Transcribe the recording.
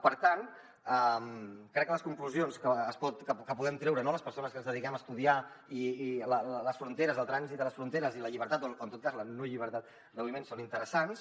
per tant crec que les conclusions que podem treure no les persones que ens dediquem a estudiar les fronteres el trànsit a les fronteres i la llibertat o en tot cas la no llibertat de moviments són interessants